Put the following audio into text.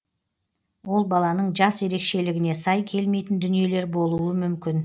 ол баланың жас ерекшелігіне сай келмейтін дүниелер болуы мүмкін